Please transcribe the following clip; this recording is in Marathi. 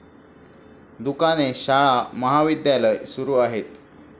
दुकाने, शाळा, महाविद्यालय सुरू आहेत.